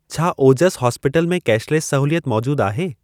छा ओजसि हॉस्पिटल में कैशलेसि सहूलियत मौजूद आहे?